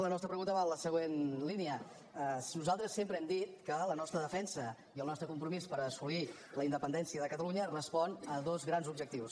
la nostra pregunta va en la següent línia nosaltres sempre hem dit que la nostra defensa i el nostre compromís per assolir la independència de catalunya respon a dos grans objectius